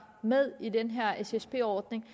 med i den her ssd ordning